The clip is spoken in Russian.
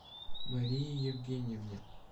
марии евгеньевне